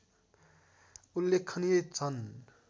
उल्लेखनीय छन्